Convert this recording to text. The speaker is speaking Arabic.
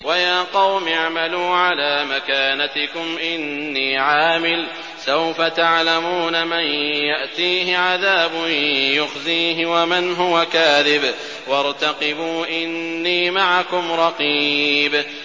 وَيَا قَوْمِ اعْمَلُوا عَلَىٰ مَكَانَتِكُمْ إِنِّي عَامِلٌ ۖ سَوْفَ تَعْلَمُونَ مَن يَأْتِيهِ عَذَابٌ يُخْزِيهِ وَمَنْ هُوَ كَاذِبٌ ۖ وَارْتَقِبُوا إِنِّي مَعَكُمْ رَقِيبٌ